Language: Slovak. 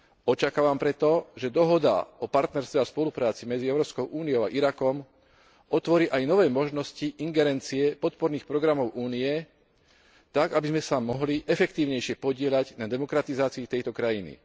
Očakávam preto, že Dohoda o partnerstve a spolupráci medzi Európskou úniou a Irakom otvorí aj nové možnosti ingerencie podporných programov Únie tak, aby sme sa mohli efektívnejšie podieľať na demokratizácii tejto krajiny.